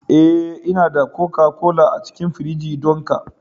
Eh, Ina da koka-kola a cikin firiji don ka